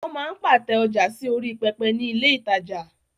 Wọ́n máa ń pàtẹ ọjà sí orí pẹpẹ ní ilé ìtajà.